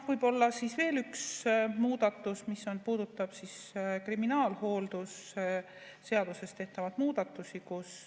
Võib-olla veel üks muudatus, mis puudutab kriminaalhooldusseaduses tehtavaid muudatusi.